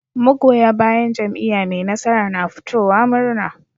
Magoya bayan jam'iya me nasara na fitowa murna